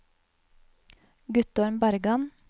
Guttorm Bergan